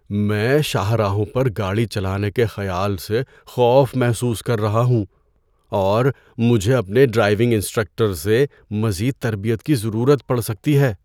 میں شاہراہوں پر گاڑی چلانے کے خیال سے خوف محسوس کر رہا ہوں، اور مجھے اپنے ڈرائیونگ انسٹرکٹر سے مزید تربیت کی ضرورت پڑ سکتی ہے۔